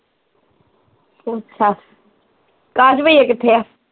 ਅੱਛਾ ਅਕਾਸ਼ ਬਈਆ ਕਿੱਥੇ ਆ